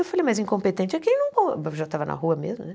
Eu falei, mas incompetente é quem não... Já estava na rua mesmo, né?